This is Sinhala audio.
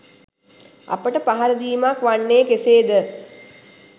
අපට පහර දීමක් වන්නේ කෙසේද?